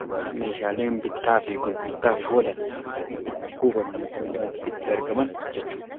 bakka meeshaaleen bittaa fi gurgurtaaf oolan itti kuufaman yookaan itti argaman jechuudha.